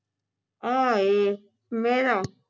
ਆ ਏ ਮਹਿਰਾ